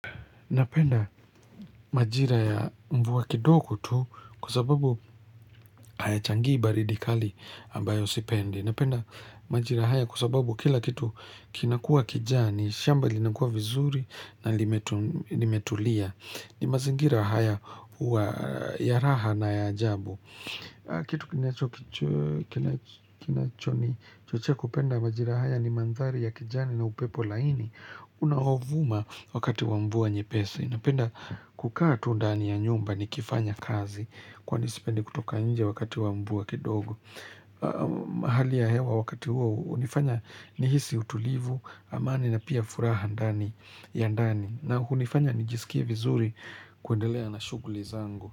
Napenda majira ya mvua kidogo tu kwa sababu hayachangii baridi kali ambayo sipendi. Napenda majira haya kwa sababu kila kitu kinakuwa kijani, shamba linakuwa vizuri na limetulia. Ni mazingira haya huwa ya raha na ya ajabu. Kitu kinacho kinachonichochea kupenda majira haya ni mandhari ya kijani na upepo laini. Unaovuma wakati wa mvua nyepesi. Napenda kukaa tu ndani ya nyumba nikifanya kazi Kwani sipendi kutoka nje wakati wa mvua kidogo mahali ya hewa wakati huo hunifanya nihisi utulivu amani na pia furaha ndani ya ndani na hunifanya nijisikie vizuri kuendelea na shughuli zangu.